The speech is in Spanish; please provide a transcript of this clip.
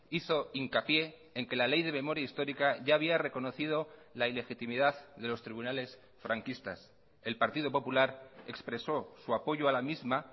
hizo hincapié en que la ley de memoria histórica ya había reconocido la ilegitimidad de los tribunales franquistas el partido popular expresó su apoyo a la misma